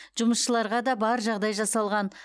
жұмысшыларға да бар жағдай жасалған